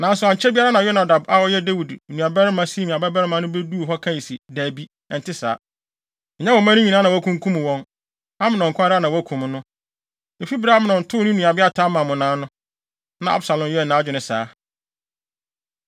Nanso ankyɛ biara na Yonadab a ɔyɛ Dawid nuabarima Simea babarima no beduu hɔ kae se, “Dabi, ɛnte saa. Ɛnyɛ wo mma no nyinaa na wɔakunkum wɔn. Amnon nko ara na wɔakum no. Efi bere a Amnon too ne nuabea Tamar mmonnaa no, na Absalom yɛɛ nʼadwene saa.